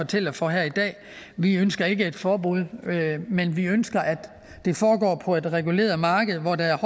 taler for her i dag vi ønsker ikke et forbud men vi ønsker at det foregår på et reguleret marked hvor der er